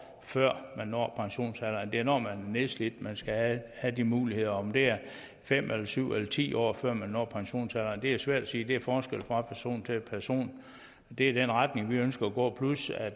før man når pensionsalderen det er når man er nedslidt man skal have de muligheder om det er fem eller syv eller ti år før man når pensionsalderen er svært at sige det er forskelligt fra person til person det er i den retning vi ønsker at gå plus at